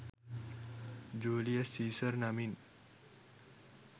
Julius Caesar නමින්